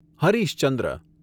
Harish Chandra